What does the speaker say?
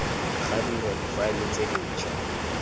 ga dirwa difaele tse dintshwa